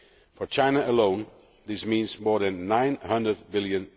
For China alone, this means more than USD 900 billion